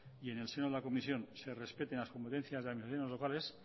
y en el seno de la comisión se respete las competencias de administraciones locales